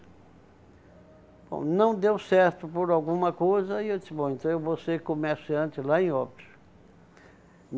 Bom, não deu certo por alguma coisa e eu disse, bom, então eu vou ser comerciante lá em Óbidos